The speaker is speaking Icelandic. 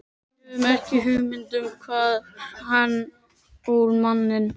Við höfðum ekki hugmynd um hvar hann ól manninn.